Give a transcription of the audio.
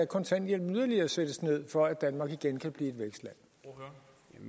kontanthjælpen yderligere sættes ned for at danmark igen kan blive